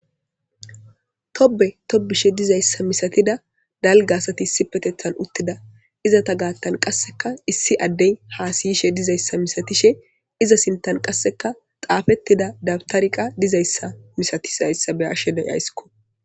Tobe tobishe dizaysa misatiza dalga asati issipetethan uttida izeta gathan qasseka issi addey hasayishe dizaysa milatishin iza sinthan qaseka xaafetida dawtarey dizaysa beyaysiko